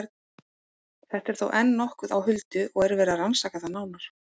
Þetta er þó enn nokkuð á huldu og er verið að rannsaka það nánar.